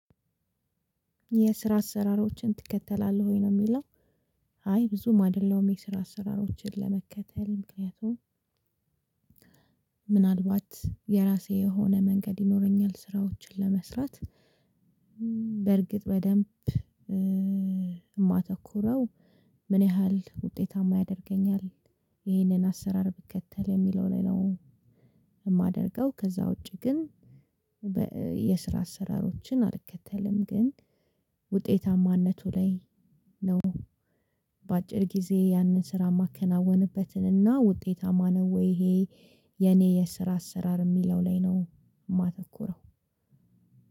የስራ አሰራሮችን ትከተላለህ ወይ ነው ሚለው? አይ ብዙም አይደለሁም የስራ አሰራሮችን ለመከተል ምክንያቱም ምናልባት የራሴ የሆነ መንገድ ይኖረኛል ስራዎችን ለመስራት። በርግጥ በደንብ የማተኩረው ምን ያህል ውጤታማ ያደርገኛል። ይህንን አሰራር ብከተል የሚለው ላይ ነው። የማደርገው ከዛ ውጪ ግን። የስራ አሰራሮችን አልከተልም። ግን ውጤታማነቱ ላይ ነው። በአጭር ጊዜ ያንን ስራ ማከናወንበትን እና ውጤታማ ነው ወይ ይሄ የኔ የስራ አሰራር የሚለው ላይ ነው። የማተኩረው።